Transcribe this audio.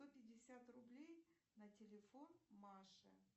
сто пятьдесят рублей на телефон маше